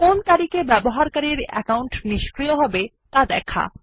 কোন তারিখে ব্যবহারকারীর অ্যাকাউন্ট নিষ্ক্রিয়হবে ত়া দেখায়